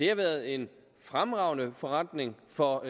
har været en fremragende forretning for